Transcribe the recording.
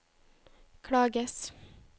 klages